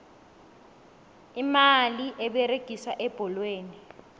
imali eberegiswa ebholweni